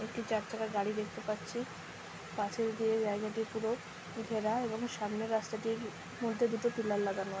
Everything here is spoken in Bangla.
একটি চার চাকার গাড়ি দেখতে পাচ্ছি পাঁচিল দিয়ে জায়গাটি পুরো ঘেরা এবং সামনের রাস্তাটির মধ্যে দুটো পিলার লাগানো আ --